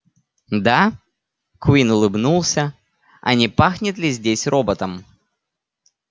да куинн улыбнулся а не пахнет ли здесь роботом